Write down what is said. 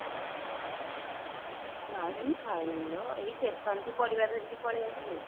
ନାଇଁ କିଛି ଖାଇନିଲୋ ଏଇ station ଠୁ ପାରିବ ଧରି କି ପଳେଇ ଆସିଲି